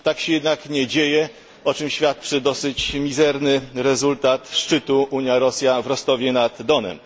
Tak się jednak nie dzieje, o czym świadczy dosyć mizerny rezultat szczytu Unia Rosja w Rostowie nad Donem.